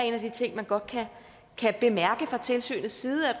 en af de ting man godt kan bemærke fra tilsynets side er